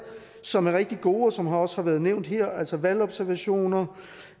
som er rigtig gode og som også har været nævnt her altså valgobservationer